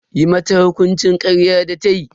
Yi mata hukuncin karyar da tayi.